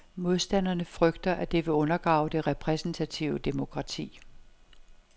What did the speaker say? Modstanderne frygter, at det vil undergrave det repræsentative demokrati.